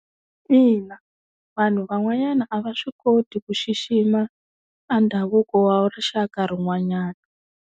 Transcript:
Ina, vanhu van'wanyana a va swi koti ku xixima a ndhavuko wa rixaka rin'wanyana.